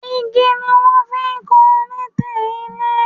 Igi ni wọ́n fi ń kan lintel ilé